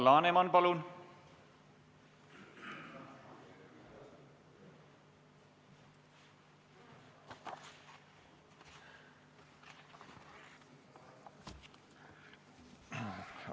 Alar Laneman, palun!